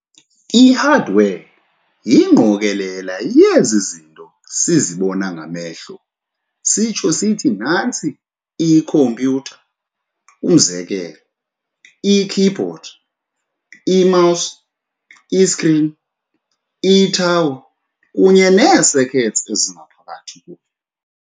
I-hardware yingqokolela yezi zinto sizibona ngamehlo sitsho sithi nantsi ikhompyutha - umzekelo, i-keyboard, i-mouse, i-screen, i-tower, kunye nee-circuits ezingaphakathi kuyo.